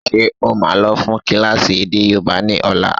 Ṣé ó máa lọ fún kílásì èdè yóòbá ni ọ̀la?